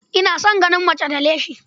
Ina son ganin mace da leshi.